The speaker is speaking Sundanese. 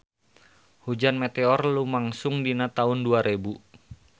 Hujan meteor lumangsung dina taun dua rebu